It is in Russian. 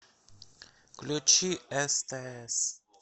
включи стс